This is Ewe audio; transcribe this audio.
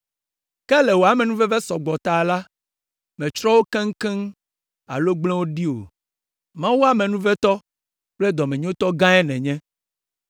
Ke le wò amenuveve sɔ gbɔ la ta la, mètsrɔ̃ wo keŋkeŋ alo gble wo ɖi o. Mawu amenuvetɔ kple dɔmenyotɔ gãe nènye!